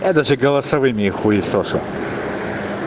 я даже голосовыми их хуесошу